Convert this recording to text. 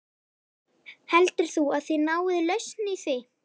Heldur þú að þið náið lausn í því?